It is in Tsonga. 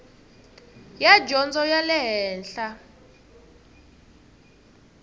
ya dyondzo ya le henhla